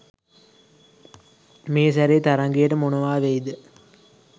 මේ සැරේ තරඟයට මොනවා වෙයිද?